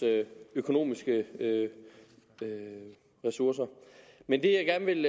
økonomiske ressourcer men det jeg gerne vil